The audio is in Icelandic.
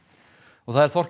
og það er Þorkell